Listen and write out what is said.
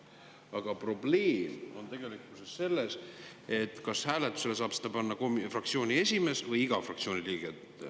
Aga probleem on selles, et me ei tea, kas hääletusele saab seda panna fraktsiooni esimees või iga fraktsiooni liige.